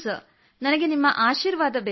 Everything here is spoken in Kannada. ನನಗೆ ನಿಮ್ಮ ಆಶೀರ್ವಾದ ಬೇಕು ಸರ್